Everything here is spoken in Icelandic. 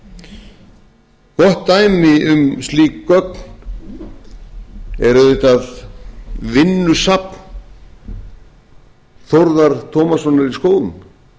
gott dæmi um slík gögn er auðvitað vinnusafn þórðar tómassonar í skógum